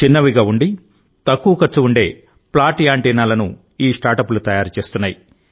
చిన్నవిగా ఉండి తక్కువ ఖర్చు ఉండే ఫ్లాట్ యాంటినా లను ఈ స్టార్టప్లు తయారు చేస్తున్నాయి